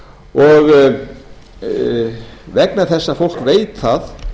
og vegna þess að fólk veit það